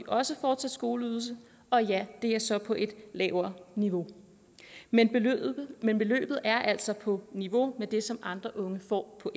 også fortsat skoleydelse og ja det er så på et lavere niveau men beløbet men beløbet er altså på niveau med det som andre unge får på